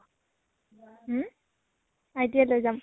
হম? লৈ যাম